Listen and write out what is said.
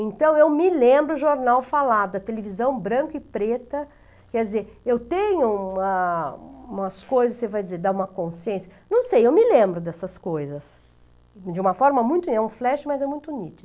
Então, eu me lembro o jornal falado, a televisão branca e preta, quer dizer, eu tenho uma umas coisas, você vai dizer, dá uma consciência, não sei, eu me lembro dessas coisas, de uma forma muito, é um flash, mas é muito nítido.